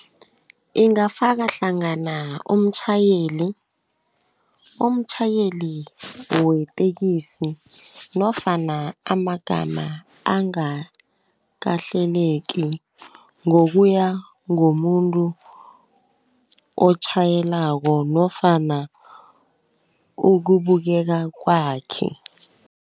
Ingafaka hlangana umtjhayeli weteksi nofana amagama angakahleleki, ngokuya ngomuntu otjhayelako nofana ukubukeka kwakhe.